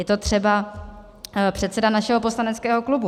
Je to třeba předseda našeho poslaneckého klubu.